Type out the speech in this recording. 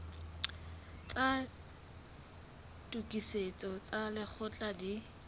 tsa tokisetso tsa lekgetho di